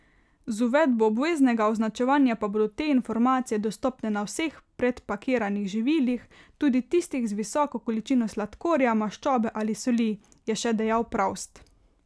Z uvedbo obveznega označevanja pa bodo te informacije dostopne na vseh predpakiranih živilih, tudi tistih z visoko količino sladkorja, maščobe ali soli, je še dejal Pravst.